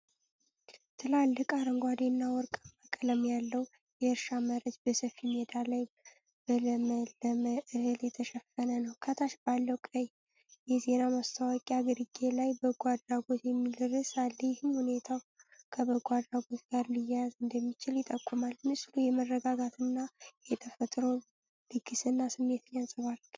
ትላልቅ፣ አረንጓዴ እና ወርቃማ ቀለም ያለው የእርሻ መሬት፣ በሰፊ ሜዳ ላይ በለመለመ እህል የተሸፈነ ነው። ከታች ባለው ቀይ የዜና ማስታወቂያ ግርጌ ላይ'በጎ አድራጎት'የሚል ርዕስ አለ፣ ይህም ሁኔታው ከበጎ አድራጎት ጋር ሊያያዝ እንደሚችል ይጠቁማል። ምስሉ የመረጋጋት እና የተፈጥሮ ልግስና ስሜትን ያንጸባርቃል።